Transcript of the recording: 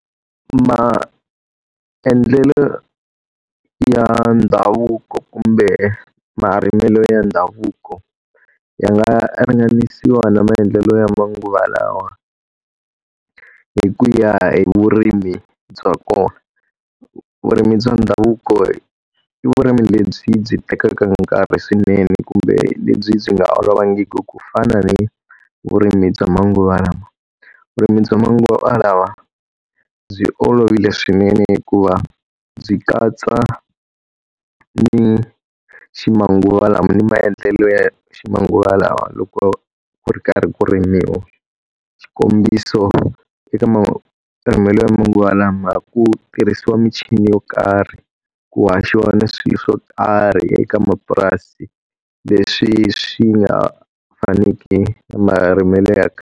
Maendlelo ya ndhavuko kumbe marimelo ya ndhavuko ya nga ringanisiwa na maendlelo ya manguva lawa, hi ku ya vurimi bya kona. Vurimi bya ndhavuko i vurimi lebyi byi tekaka nkarhi swinene kumbe lebyi byi nga olovangiki ku fana ni vurimi bya manguva lawa. Vurimi bya manguva lawa byi olovile swinene hikuva byi katsa ni ximanguva lama ni maendlelo ya ximanguva lawa loko ku ri karhi ku rimiwa. Xikombiso eka marimelo ya manguva lawa ku tirhisiwa michini yo karhi, ku haxiwa ni swilo swo karhi eka mapurasi, leswi swi nga faniki ni marimelo ya .